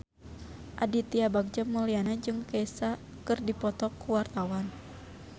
Aditya Bagja Mulyana jeung Kesha keur dipoto ku wartawan